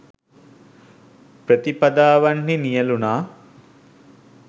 ප්‍රතිපදාවන්හි නියැලුණා